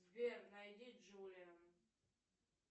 сбер найди джулиан